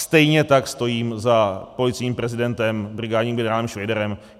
Stejně tak stojím za policejním prezidentem brigádním generálem Švejdarem.